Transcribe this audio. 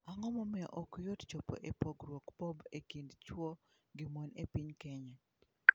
Ang'o momiyo ok yot chopo e pogruok Bob e kind chwo gi mon e piny kenya?